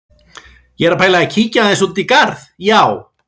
Ég er að pæla í að kíkja aðeins út í garð, já.